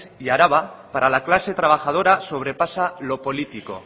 y araba para la clase trabajadora sobrepasa lo político